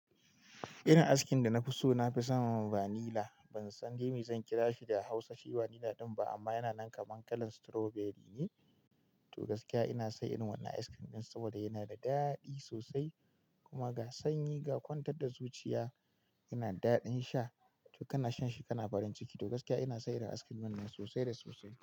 Irin askin da na fi so na fi son vanilla. Ban san dai me zan kira shi da Hausa shi vanilla ɗin ba amma yana nan kaman kalan strawberry ne. To gaskiya ina son wannan ice cream ɗin saboda yana da daɗi sosai kuma ga sanyi ga kwantar da zuciya yana daɗin sha. To kana shan shi kana barin ciki. To gaskiya ina son askin dinnan sosai da sosai.